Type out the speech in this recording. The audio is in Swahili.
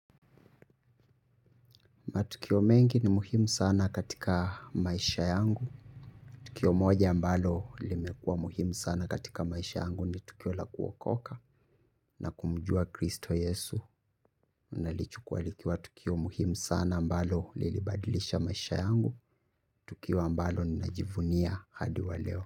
Matukio mengi ni muhimu sana katika maisha yangu. Tukio moja ambalo limekuwa muhimu sana katika maisha yangu ni tukio la kuokoka na kumujua kristo yesu. Nalichukua likiwa tukio muhimu sana ambalo lilibadilisha maisha yangu. Tukio ambalo ninajivunia hadi wa leo.